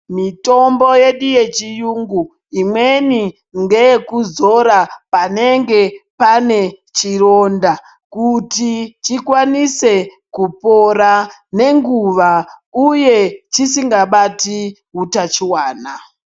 Mitombo yedu yechiyungu imweni ngeye kuzora panenge pane chironda kuti chikwanise kupora nenguwa uye chisingabati utachiwana.